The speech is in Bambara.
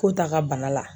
Ko ta ka bana la